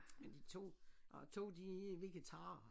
Men de 2 og 2 de er vegetarer